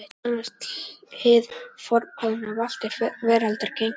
Nú sannast hið fornkveðna: Valt er veraldar gengið.